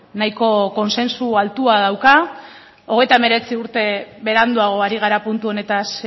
nahiko kontsentsu altua dauka hogeita hemeretzi urte beranduago ari gara puntu honetaz